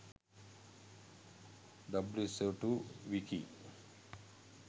wso2 wiki